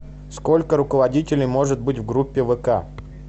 сколько руководителей может быть в группе вк